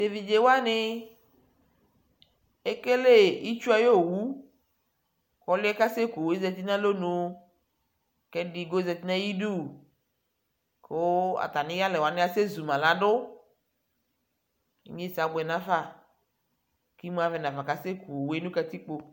tʋ ɛvidzɛ wani ɛkɛlɛ itsʋ ayɔ ɔwʋ kʋ ɔlʋɛ asɛ kʋ ɔwʋɛ ɔzati nʋ alɔnʋ kɛ ɛdigbɔ zati nʋ ayidʋ kʋ atami yalɛ wani asɛ zʋma ladʋ inyɛnsɛ abʋɛ nʋ aƒa kʋ imʋ avɛ nʋaƒa kʋ asɛ kʋ ɔwʋɛ nʋ katikpɔ